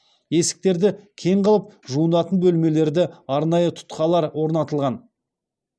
есіктерді кең қылып жуынатын бөлмелерді арнайы тұтқалар орнатылған